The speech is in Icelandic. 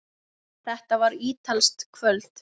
Þetta var ítalskt kvöld.